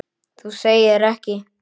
Þú segir ekki!?!